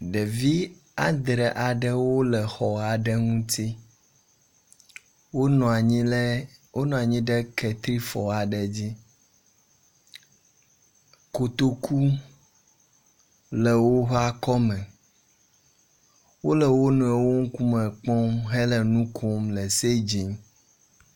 Devi andre aɖewo wole xɔ aɖe ŋu. Wonɔ anyi ɖe ketrifɔ aɖe dzi. Kotoku le woƒe akɔme. Wole wo nɔewo ŋkume kpɔm hele nu kom le segin.